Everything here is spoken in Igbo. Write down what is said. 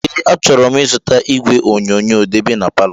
Ee achoro m ịzụta ìgwè onyonyoo debe n'paló.